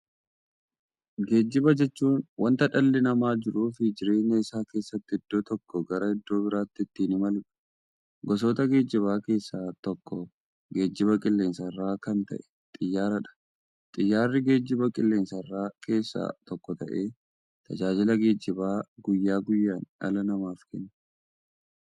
Geejjiba jechuun wanta dhalli namaa jiruuf jireenya isaa keessatti iddoo tokkoo gara iddoo birootti ittiin imaluudha. Gosa geejjibaa keessaa tokko geejjiba qilleensarraa kan ta'e Xiyyaaradha. Xiyyaarri geejjibaa qilleensarraa keessaa tokko ta'ee, tajaajila geejjibaa guyyaa guyyaan dhala namaaf kenna.